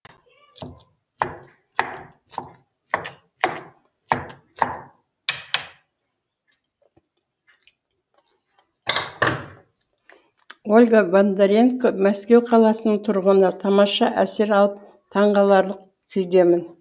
ольга бондаренко мәскеу қаласының тұрғыны тамаша әсер алып таңғаларлық күйдемін